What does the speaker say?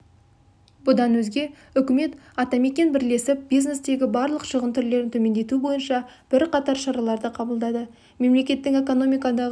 бұдан өзге үкімет атамекен бірлесіп бизнестегі барлық шығын түрлерін төмендету бойынша бірқатар шараларды қабылдады мемлекеттің экономикадағы